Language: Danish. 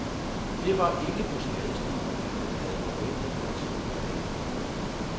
Det var ikke på skadestuen, at han havde forventet at slutte dagen i går.